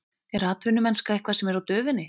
Er atvinnumennska eitthvað sem er á döfinni?